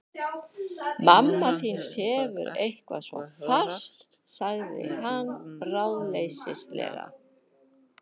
Mamma þín sefur eitthvað svo fast sagði hann ráðleysislega.